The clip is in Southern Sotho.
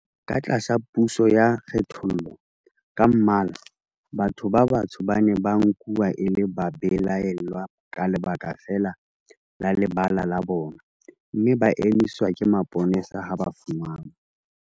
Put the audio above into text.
Ka tlasa puso ya kgethollo ka mmala, batho ba batsho ba ne ba nkuwa e le babelaellwa ka lebaka feela la lebala la bona, mme ba emiswa ke mapolesa ha ba fumanwa